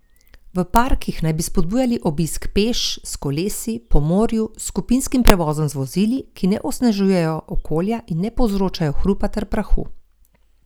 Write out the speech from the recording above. V parkih naj bi spodbujali obisk peš, s kolesi, po morju, s skupinskim prevozom z vozili, ki ne onesnažujejo okolja in ne povzročajo hrupa ter prahu.